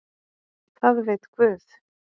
Það veit Guð.